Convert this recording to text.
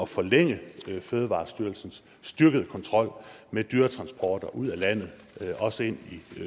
forlænge fødevarestyrelsens styrkede kontrol med dyretransporter ud af landet også ind